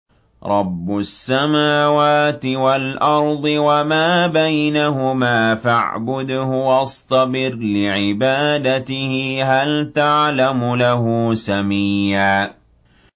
رَّبُّ السَّمَاوَاتِ وَالْأَرْضِ وَمَا بَيْنَهُمَا فَاعْبُدْهُ وَاصْطَبِرْ لِعِبَادَتِهِ ۚ هَلْ تَعْلَمُ لَهُ سَمِيًّا